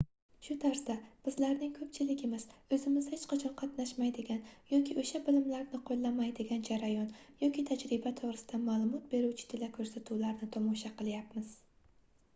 shu tarzda bizlarning koʻpchiligimiz oʻzimiz hech qachon qatnashmaydigan yoki oʻsha bilimlarni qoʻllamaydigan jarayon yoki tajriba toʻgʻrisida maʼlumot beruvchi telekoʻrsatuvlarni tomosha qilyapmiz